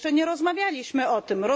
Jeszcze nie rozmawialiśmy o tym.